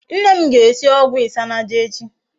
Nne m ga-esi ogwu isanaje echi